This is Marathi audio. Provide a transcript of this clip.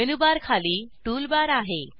मेनू बार खाली टूल बार आहे